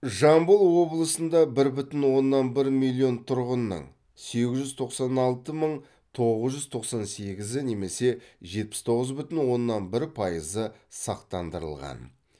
жамбыл облысында бір бүтін оннан бір миллион тұрғынның сегіз жүз тоқсан алты мың тоғыз жүз тоқсан сегізі немесе жетпіс тоғыз бүтін оннан бір пайызы сақтандырылған